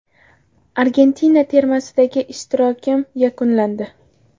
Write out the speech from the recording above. Argentina termasidagi ishtirokim yakunlandi.